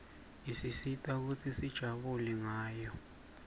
isisita kutsi sijabule ngayo